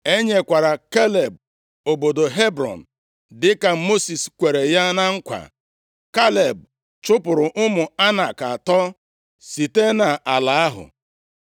E nyekwara Kaleb obodo Hebrọn, dịka Mosis kwere ya na nkwa. Kaleb chụpụrụ ụmụ Anak atọ site nʼala ahụ.